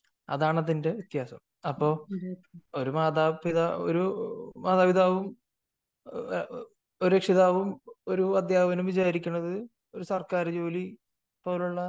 അതാണ് അതിന്റെ വ്യത്യാസം അപ്പൊ ഒരു മാതാപിതാവും ഒരു രക്ഷിതാവും ഒരു അധ്യാപകവും വിചാരിക്കുന്നത് ഒരു സർക്കാർ ജോലി പോലുള്ള അതാണ് അതിന്റെ വ്യത്യാസം